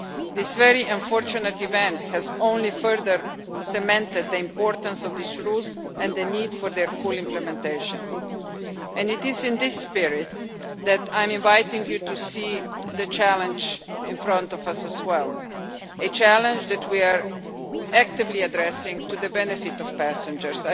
This very unfortunate event has only further cemented the importance of these rules and the need for their full implementation, and it is in this spirit that I'm inviting you to see the challenge in front of us, as well. A challenge that we are actively addressing to the benefit of passengers.